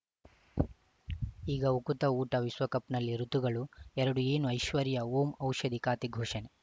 ಈಗ ಉಕುತ ಊಟ ವಿಶ್ವಕಪ್‌ನಲ್ಲಿ ಋತುಗಳು ಎರಡು ಏನು ಐಶ್ವರ್ಯಾ ಓಂ ಔಷಧಿ ಖಾತೆ ಘೋಷಣೆ